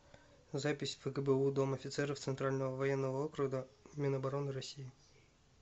запись фгбу дом офицеров центрального военного округа минобороны россии